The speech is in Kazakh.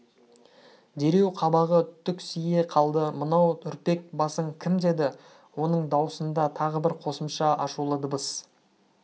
дереу қабағы түксие қалды мынау үрпек басың кім деді оның даусында тағы бір қосымша ашулы дыбыс